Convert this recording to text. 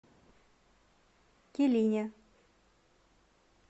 килине